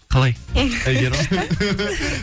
қалай